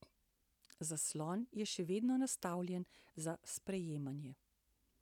Zaslon je še vedno nastavljen za sprejemanje.